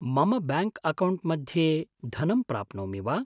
मम bank account मध्ये धनं प्राप्नोमि वा?